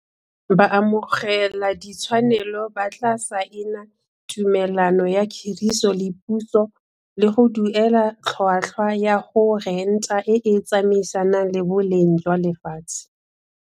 Baamogeladitshwanelo ba tla saena tumelano ya khiriso le puso le go duela tlhotlhwa ya go renta e e tsamaisanang le boleng jwa lefatshe.